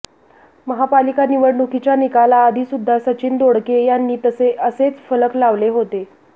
महापालिका निवडणुकीच्या निकालाआधी सुद्धा सचिन दोडके यांनी असेच फलक लावले होते